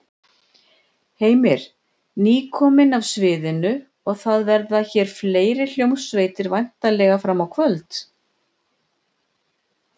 Heimir: Nýkomin af sviðinu og það verða hér fleiri hljómsveitir væntanlega fram á kvöld?